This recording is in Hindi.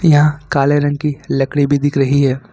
यहां काले रंग की लकड़ी भी दिख रही है।